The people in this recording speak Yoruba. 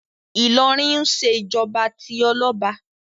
Ìlọrin ń ṣe ìjọba tí ọlọ́ba